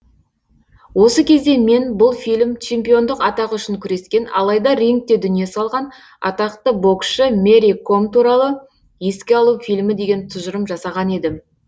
осы кезде мен бұл фильм чемпиондық атағы үшін күрескен алайда рингте дүние салған атақты боксшы мэри ком туралы еске алу фильмі деген тұжырым жасаған едім